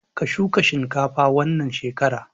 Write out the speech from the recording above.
Ka shuka shinkafa wannan shekara!